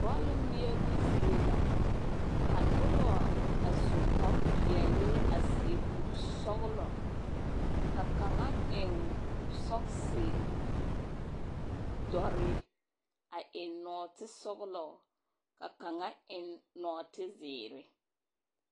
Bɔlle ŋmeɛbo zie la. Ka nobɔ a su kparepeɛle a seɛ kur-sɔgelɔ, ka kaŋa eŋ sɔgese dɔre a eŋ nɔɔtesɔgelɔ, ka kaŋa eŋ nɔɔtezeere.